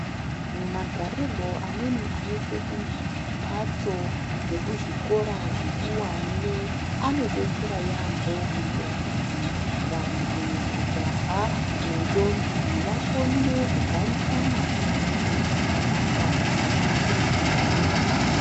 Mumagarirwo amweni anoitwe kumphatso dzekuzvikora zvikuwane, anodetsera yaampho kuitira kuti vantu, majaha, nendombi vakone kugarisana neamweni zvakanaka, pasina kuphixana.